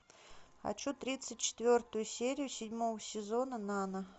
хочу тридцать четвертую серию седьмого сезона нана